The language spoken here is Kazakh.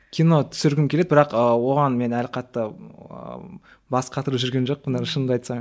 кино түсіргім келеді бірақ оған мен әлі қатты ыыы бас қатырып жүрген жоқпын әлі шынымды айтсам